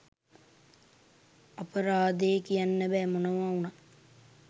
අපරාදෙ කියන්න බෑ මොනව උනත්